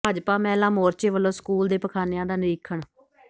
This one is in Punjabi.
ਭਾਜਪਾ ਮਹਿਲਾ ਮੋਰਚੇ ਵੱਲੋਂ ਸਕੂਲ ਦੇ ਪਖਾਨਿਆਂ ਦਾ ਨਿਰੀਖਣ